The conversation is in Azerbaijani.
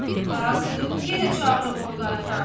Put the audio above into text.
Qazı yenə çağırıb onu qaytardı.